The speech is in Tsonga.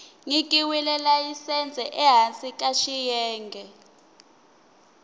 nyikiweke layisense ehansi ka xiyenge